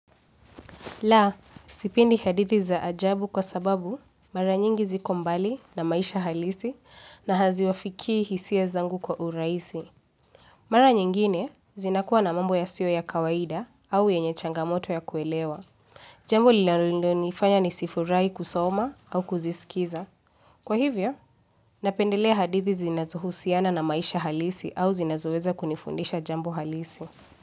La, sipendi hadithi za ajabu kwa sababu mara nyingi ziko mbali na maisha halisi na haziwafikii hisia zangu kwa urahisi. Mara nyingine zinakuwa na mambo yasiyo ya kawaida au yenye changamoto ya kuelewa. Jambo linalonifanya nisifurahi kusoma au kuzisikiza. Kwa hivyo, napendelea hadithi zinazohusiana na maisha halisi au zinazoweza kunifundisha jambo halisi.